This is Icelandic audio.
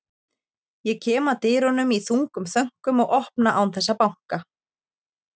Ég kem að dyrunum í þungum þönkum og opna án þess að banka.